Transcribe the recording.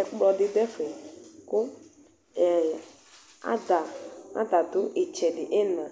ɛkplɔdi dʋ ɛfɛ kʋ adadʋ iina